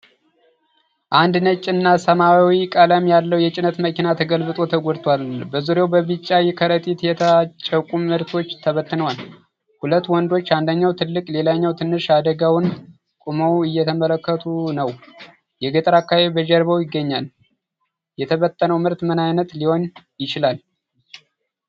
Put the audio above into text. አንድ ነጭና ሰማያዊ ቀለም ያለው የጭነት መኪና ተገልብጦ ተጎድቷል። በዙሪያው በቢጫ ከረጢቶች የታጨቁ ምርቶች ተበትነዋል። ሁለት ወንዶች፣ አንደኛው ትልቅ ሌላኛው ትንሽ፣ አደጋውን ቆመው እየተመለከቱ ነው። የገጠር አካባቢ በጀርባው ይገኛል። የተበተነው ምርት ምን ዓይነት ሊሆን ይችላል?